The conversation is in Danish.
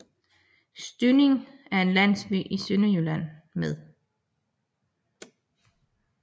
Styding er en landsby i Sønderjylland med